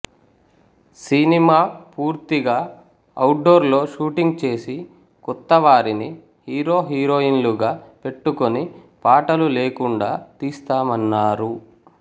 cinema పూర్తిగా outdoor లో shooting చేసి కొత్తవారిని హీరోహీరోయిన్లుగా పెట్టుకుని పాటలు లేకుండా తీస్తామన్నారు